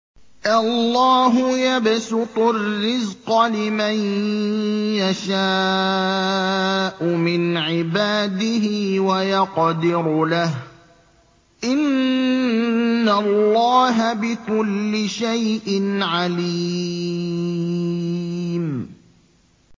اللَّهُ يَبْسُطُ الرِّزْقَ لِمَن يَشَاءُ مِنْ عِبَادِهِ وَيَقْدِرُ لَهُ ۚ إِنَّ اللَّهَ بِكُلِّ شَيْءٍ عَلِيمٌ